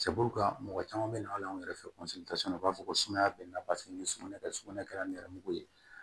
mɔgɔ caman bɛ na hali anw yɛrɛ fɛ u b'a fɔ ko sumaya bɛ n na paseke ni suman ka sugunɛ kɛra ni nɛrɛmugu ye